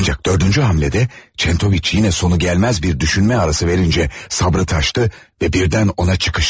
Ancak dördüncü hamlede Çentoviç yine sonu gelmez bir düşünme arası verince sabrı taştı ve birden ona çıkıştı.